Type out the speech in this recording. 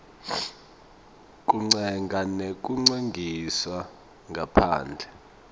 kutsenga nekutsengisa ngaphandle